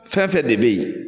Fɛnfɛn de be yen